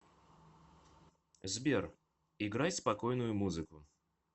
сбер играй спокойную музыку